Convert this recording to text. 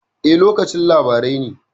E, lokacin labarai ne.